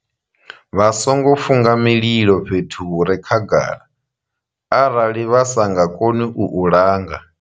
Vha songo funga mililo fhethu hu re khagala arali vha sa nga koni u u langa.